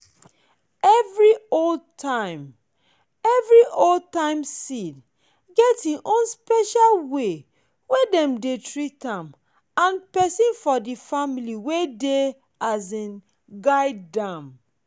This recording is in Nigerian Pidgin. every old-time every old-time seed get e own time special way wey dem dey treat am and person for family wey dey um guard am.